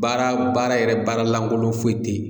Baara baara yɛrɛ baara lankolon foyi tɛ yen.